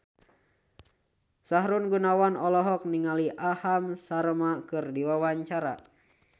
Sahrul Gunawan olohok ningali Aham Sharma keur diwawancara